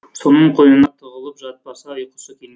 соның қойнына тығылып жатпаса ұйқысы келмейді